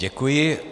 Děkuji.